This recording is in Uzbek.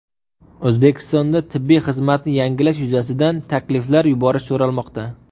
O‘zbekistonda tibbiy xizmatni yaxshilash yuzasidan takliflar yuborish so‘ralmoqda.